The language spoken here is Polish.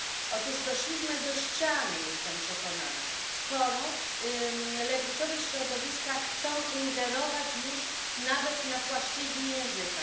Otóż doszliśmy do ściany, jestem przekonana, skoro lewicowe środowiska chcą ingerować już nawet na płaszczyźnie języka.